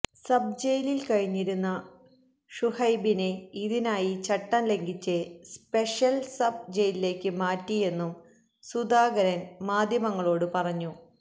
sub ജയിലില് കഴിഞ്ഞിരുന്ന ഷുഹൈബിനെ ഇതിനായി ചട്ടം ലംഘിച്ച് സ്പെഷ്യല് സബ് ജയിലിലേക്ക് മാറ്റിയെന്നും സുധാകരന് മാധ്യമങ്ങളോട് പറഞ്ഞു